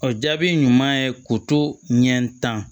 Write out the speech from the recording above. O jaabi ɲuman ye k'u to ɲɛ tan